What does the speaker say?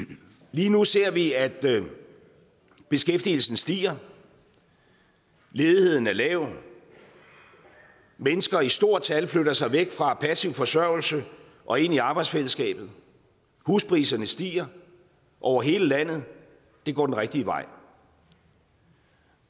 lige nu ser vi at beskæftigelsen stiger ledigheden er lav mennesker i stort tal flytter sig væk fra passiv forsørgelse og ind i arbejdsfællesskabet huspriserne stiger over hele landet og det går den rigtige vej